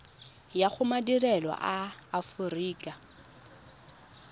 ya go madirelo a aforika